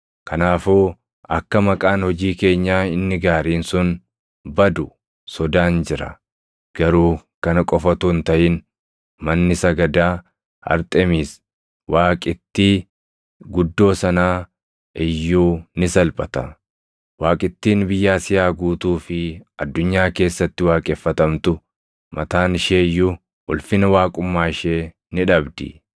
Kanaafuu akka maqaan hojii keenyaa inni gaariin sun badu sodaan jira; garuu kana qofa utuu hin taʼin manni sagadaa Arxemiisi waaqittii guddoo sanaa iyyuu ni salphata; waaqittiin biyya Asiyaa guutuu fi addunyaa keessatti waaqeffatamtu mataan ishee iyyuu ulfina waaqummaa ishee ni dhabdi.”